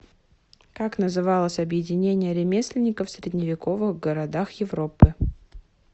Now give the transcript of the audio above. как называлось объединение ремесленников в средневековых городах европы